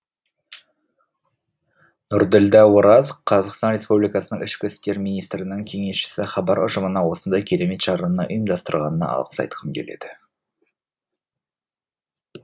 нұрділдә ораз қазақстан республикасының ішкі істер министрінің кеңесшісі хабар ұжымына осындай керемет шараны ұйымдастырғанына алғыс айтқым келеді